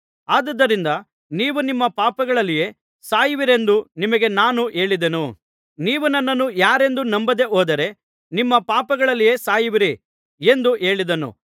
ಆದುದರಿಂದ ನೀವು ನಿಮ್ಮ ಪಾಪಗಳಲ್ಲಿಯೇ ಸಾಯುವಿರೆಂದು ನಿಮಗೆ ನಾನು ಹೇಳಿದೆನು ನೀವು ನನ್ನನ್ನು ಯಾರೆಂದು ನಂಬದೆ ಹೋದರೆ ನಿಮ್ಮ ಪಾಪಗಳಲ್ಲಿಯೇ ಸಾಯುವಿರಿ ಎಂದು ಹೇಳಿದನು